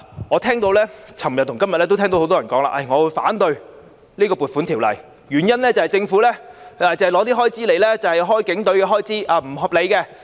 我在昨天和今天都聽到很多人說會反對《2020年撥款條例草案》，原因是政府的撥款用來支付警隊開支，那是不合理的。